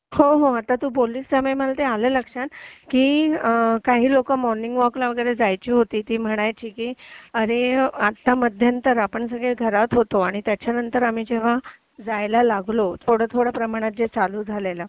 हो हो आता तू बोलल्यामुळे मला आलं ते लक्षात की काही लोक मॉर्निंग वॉकला वगैरे जायची होती ती म्हणायची आता मध्यंतरी आपण सगळे घरात होतो आणि त्याच्यानंतर आम्ही जेव्हा जायला लागलो थोडा थोडा प्रमाणात जे चालू झालेलं